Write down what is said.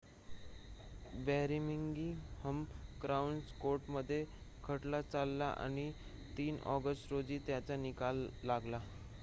Birmingham crown कोर्टामध्ये खटला चालला आणि ३ ऑगस्ट रोजी त्याचा निकाल लागला